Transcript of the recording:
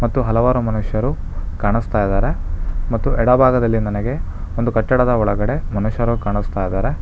ಮತ್ತು ಹಲವಾರು ಮನುಷ್ಯರು ಕಾಣುಸ್ತಾಯಿದಾರೆ ಮತ್ತು ಎಡಭಾಗದಲ್ಲಿ ನನಗೆ ಒಂದು ಕಟ್ಟಡದ ಒಳಗಡೆ ಮನುಷ್ಯರು ಕಾಣಿಸುತ್ತಿದ್ದಾರೆ.